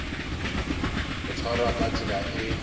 ho tshwarwa ka tsela e